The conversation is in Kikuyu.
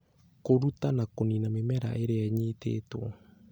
Kũruta na kũniina mĩmera ĩrĩa ĩnyitĩtwo